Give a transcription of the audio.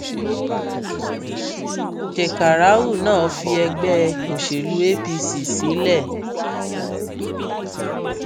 shekarau náà fi ẹgbẹ òṣèlú apc sílẹ